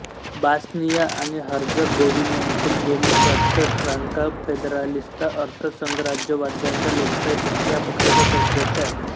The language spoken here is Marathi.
बॉस्निया आणि हर्झगोव्हिन्यातील देमोक्रात्स्का स्त्रांका फेदेरालिस्ता अर्थ संघराज्यवाद्यांचा लोकशाही पक्ष या पक्षाचा तो अध्यक्ष आहे